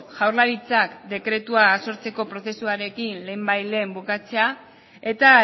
jaurlaritzak dekretua sortzeko prozesuarekin lehenbailehen bukatzea eta